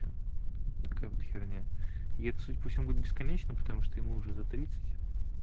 компьютерная я буду бесконечно потому что ему уже за тридцать